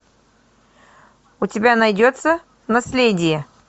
у тебя найдется наследие